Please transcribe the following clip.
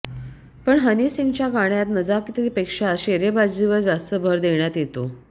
पण हनी सिंगच्या गाण्यात नजाकतीपेक्षा शेरेबाजीवर जास्त भर देण्यात येतो